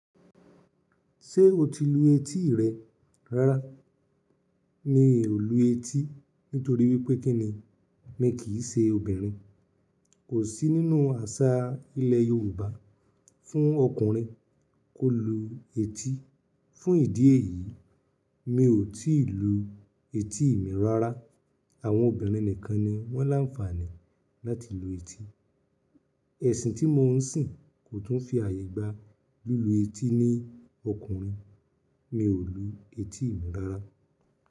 Ṣé o ti lu etí rẹ rárá? Mi ò lu etí nítorí wípé kín ni? Mi kìí ṣe obìnrin. Kò sí nínú àṣà ilẹ̀ Yorùbá fún ọkùnrin kó lu etí. Fún ìdí èyí, mi ò tíì lu etí mi rárá. Àwọn obìnrin nìkan ni wón láǹfààní láti lu etí. Ẹ̀sìn tí mo ń sìn kò tún fi ààyè gba lílu etí ní ọkùnrin. Mi ò lu etí mi rárá.